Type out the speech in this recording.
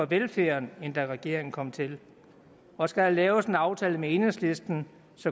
velfærd end da regeringen kom til og skal der laves en aftale med enhedslisten